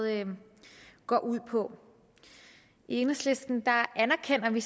går ud på i enhedslisten anerkender vi